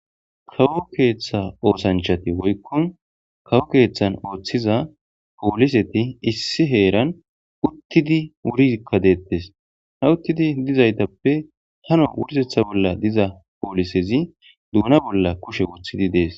Kawo keeththa oosanchati woykkon kawo keeththan ooththiza pooliseti issi heeran uttidi wurizikka deettes ha uttidi dizaytappe hano wurisetha bolla diza poolisezi duuna bolla kushe uthidi dees